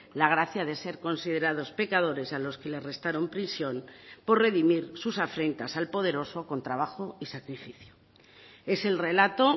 la gracia de ser considerados pecadores a los que les restaron prisión por redimir sus afrentas al poderoso con trabajo y sacrificio es el relato